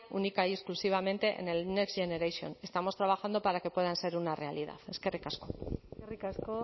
única y exclusivamente en el next generation estamos trabajando para que puedan ser una realidad eskerrik asko eskerrik asko